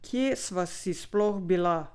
Kaj sva si sploh bila?